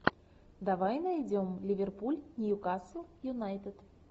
давай найдем ливерпуль ньюкасл юнайтед